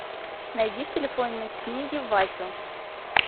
найди в телефонной книге васю